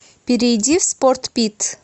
перейди в спортпит